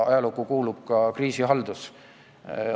Ajalukku kuulub ka kriisihaldus.